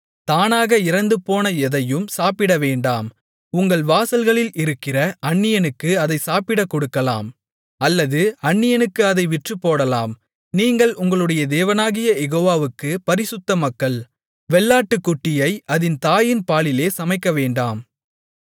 தானாக இறந்துபோன எதையும் சாப்பிடவேண்டாம் உங்கள் வாசல்களில் இருக்கிற அந்நியனுக்கு அதை சாப்பிடக் கொடுக்கலாம் அல்லது அந்நியனுக்கு அதை விற்றுப்போடலாம் நீங்கள் உங்களுடைய தேவனாகிய யெகோவாவுக்குப் பரிசுத்த மக்கள் வெள்ளாட்டுக்குட்டியை அதின் தாயின் பாலிலே சமைக்கவேண்டாம்